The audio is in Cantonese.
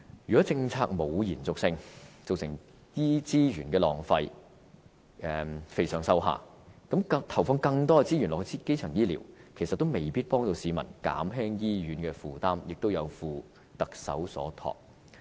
如果政府欠缺延續性，造成資源浪費，"肥上瘦下"，投放更多給資源基層醫療，其實也未必能夠減輕市民對醫院的需求，也有負特首所託。